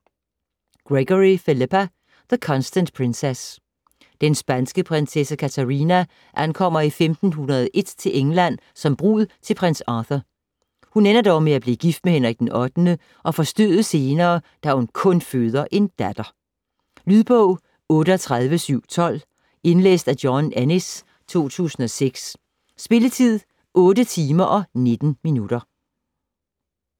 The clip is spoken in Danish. Gregory, Philippa: The constant princess Den spanske prinsesse Catarina ankommer i 1501 til England som brud til prins Arthur. Hun ender dog med at blive gift med Henrik den Ottende og forstødes senere, da hun kun føder en datter. Lydbog 38712 Indlæst af John Ennis, 2006. Spilletid: 8 timer, 19 minutter.